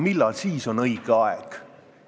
Millal siis on õige aeg?